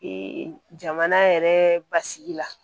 jamana yɛrɛ basigi la